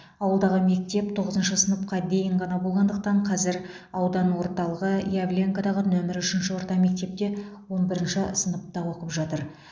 ауылдағы мектеп тоғызыншы сыныпқа дейін ғана болғандықтан қазір аудан орталығы явленкадағы нөмірі үшінші орта мектепте он бірінші сыныпта оқып жатыр